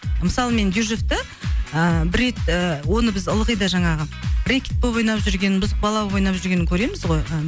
мысалы мен дюжевты ыыы бір рет ы оны біз ылғи да жаңағы рэкет болып ойнап жүргенін бұзық бала болып ойнап жүргенін көреміз ғой